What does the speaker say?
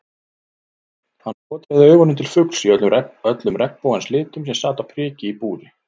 Hann skotraði augunum til fugls í öllum regnbogans litum sem sat á priki í búri.